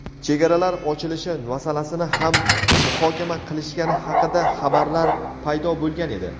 chegaralar ochilishi masalasini ham muhokama qilishgani haqida xabarlar paydo bo‘lgan edi.